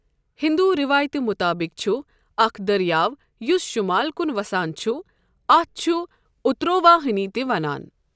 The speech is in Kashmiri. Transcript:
ہندو روایتہِ مُطٲبق چھُ اکھ دٔریاو یُس شمال کُن وسان چھُ اَتھ چھُ اترواہنی تہِ ونان۔